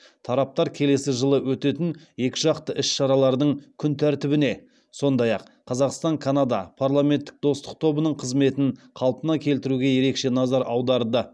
тараптар келесі жылы өтетін екіжақты іс шаралардың күн тәртібіне сондай ақ қазақстан канада парламенттік достық тобының қызметін қалпына келтіруге ерекше назар аударды